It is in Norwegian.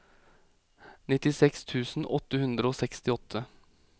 nittiseks tusen åtte hundre og sekstiåtte